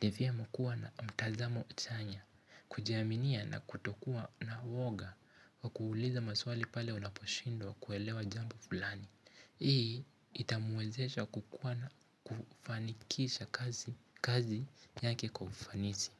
devia mkua na mtazamo chanya. Kujiaminia na kutokuwa na uoga. Kwa kuuliza maswali pale unaposhindwa kuelewa jambo fulani. Hii itamwezesha kukuwa na kufanikisha kazi yake kwa ufanisi.